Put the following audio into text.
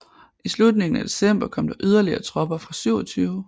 I slutningen af december kom der yderligere tropper fra 27